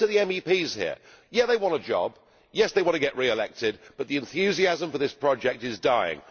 And most of the MEPs here, yes, they want a job, yes, they want to be re elected, but the enthusiasm for this project is dying.